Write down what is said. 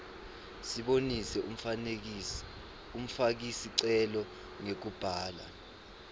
sibonise umfakisicelo ngekubhala